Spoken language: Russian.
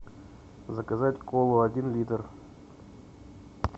заказать колу один литр